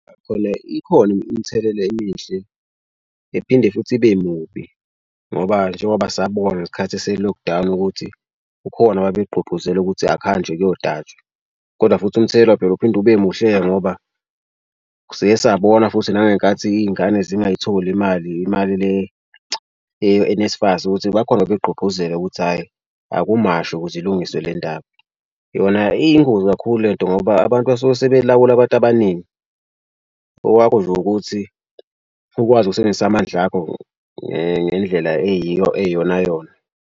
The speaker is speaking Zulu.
Khona ikhona imthelela emihle ephinde futhi ibe mubi ngoba njengoba sabona ngesikhathi ese-lock down ukuthi ukhona ababegqugquzela ukuthi akuhanjwe kuyotatshwa kodwa futhi umthelela phela uphinde ube muhleke ngoba siye sabona futhi nangenkathi iy'ngane zingayitholi imali imali. Le ye-N_S FAS ukuthi bakhone babegqugqquzele ukuthi hhayi akumashwe ukuze ilungiswe le ndaba. Yona iyingozi kakhulu le nto ngoba abantu basuke sebelawula abantu abaningi. Owakho nje ukuthi ukwazi ukusebenzisa amandla akho ngendlela eyiyo eyiyona yona.